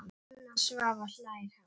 Anna Svava hlær hátt.